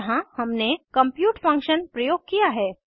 यहाँ हमने compute function प्रयोग किया है